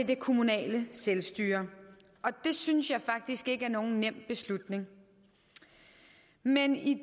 det kommunale selvstyre det synes jeg faktisk ikke er nogen nem beslutning men i